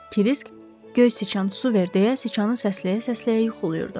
Krisk “Göy siçan, su ver” deyə siçanın səsləyə-səsləyə yuxulayırdı.